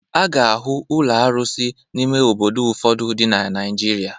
A ga-ahụ ụlọ arụsị n'ime obodo ụfọdụ dị na Naịjirịa.